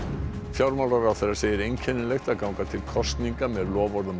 fjármálaráðherra segir einkennilegt að ganga til kosninga með loforð um